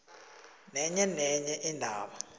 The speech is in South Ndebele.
nenye nenye indaba